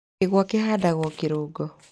Kĩgwa kĩhandagwo kĩrũngo.